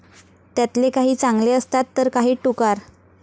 त्यातले काही चांगले असतात तर काही टुकार.